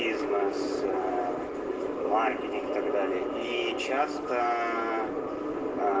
из